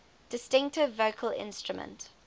distinctive vocal instrument